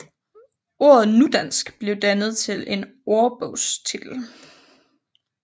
Ordet nudansk blev dannet til en ordbogstitel